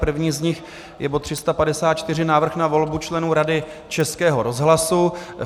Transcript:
První z nich je bod 354 - Návrh na volbu členů Rady Českého rozhlasu.